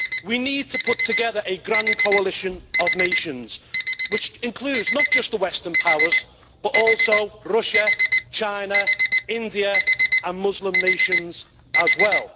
We need to put together a grand coalition of nations including not just the Western powers but also Russia, China, India and Muslim nations as well.